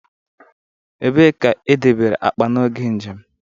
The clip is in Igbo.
Ebee ka e debere akpa n'oge njem?